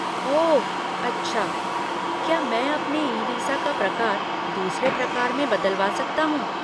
ओह अच्छा। क्या मैं अपने ई वीसा का प्रकार दूसरे प्रकार में बदलवा सकता हूँ?